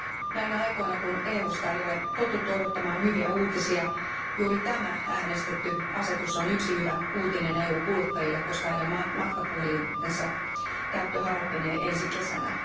Näinä aikoina kun EUsta ei ole totuttu odottamaan hyviä uutisia, juuri tämä äänestetty asetus on yksi hyvä uutinen EUn kuluttajille, koska heidän matkapuhelintensa käyttö halpenee ensi kesänä.